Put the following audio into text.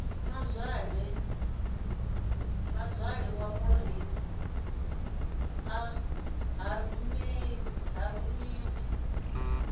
mazwale maureen a rumiwe u